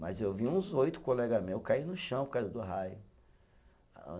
Mas eu vi uns oito colega meus caírem no chão por causa do raio.